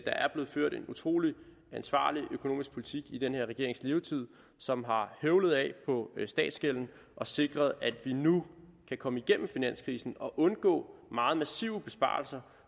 er blevet ført en utrolig ansvarlig økonomisk politik i den her regerings levetid som har høvlet af på statsgælden og sikret at vi nu kan komme igennem finanskrisen og undgå meget massive besparelser